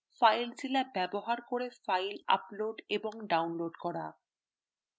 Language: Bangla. filezilla ব্যবহার করে files upload এবং download করা